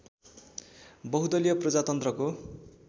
बहुदलीय प्रजातन्त्रको